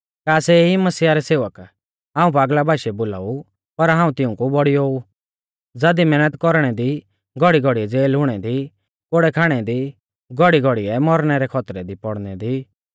का सै ई मसीहा रै सेवक हाऊं पागला बाशीऐ बोलाऊ पर हाऊं तिऊंकु बौड़ियौ ऊ ज़ादी मैहनत कौरणै दी घौड़ीघौड़ीऐ ज़ेल हुणै दी कोड़ै खाणै दी घौड़ीघौड़ीऐ मौरणै रै खौतरै दी पौड़नै दी